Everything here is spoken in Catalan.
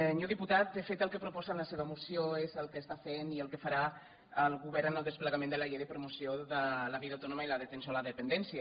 senyor diputat de fet el que proposa en la seva moció és el que està fent i el que farà el govern en el desplegament de la llei de promoció de la vida autònoma i d’atenció a la dependència